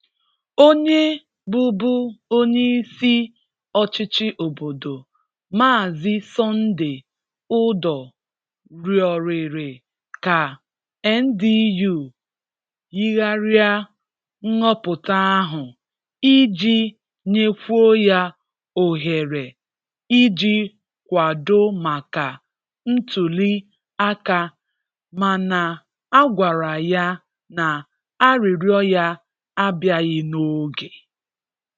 Onye bụ̀bụ̀ onyeisi ọ̀chịchị obodo, Mààzị Sùndéy Ùdọ̀h rịọ̀rị̀rị̀ ka NDU yìghàrịa nhọpụ̀tà ahụ iji nyèkwuo ya òghéré iji kwàdọ̀ maka ntùlì àkà mana a gwàrà ya na arịrịọ̀ ya abị̀àghì n'oge.